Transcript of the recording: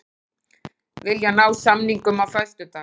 Vilja ná samningum á föstudag